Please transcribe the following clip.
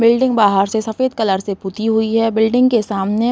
Building बाहर से सफ़ेद कलर से पुती हुई है। बिल्डिंग के सामने --